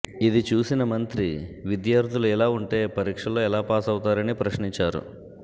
ఇది చూసిన మంత్రి విద్యార్థులు ఇలా ఉంటే పరీక్షల్లో ఎలా పాసవుతారని ప్రశ్నించారు